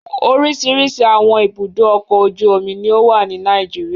Oríṣiríṣi àwọn ibùdó-ọkọ̀ ojú-omi ni ó wà ní Nàìjíríà.